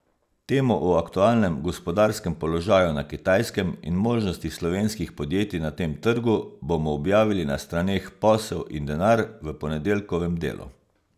Temo o aktualnem gospodarskem položaju na Kitajskem in možnostih slovenskih podjetij na tem trgu bomo objavili na straneh Posel in denar v ponedeljkovem Delu.